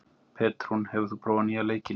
Petrún, hefur þú prófað nýja leikinn?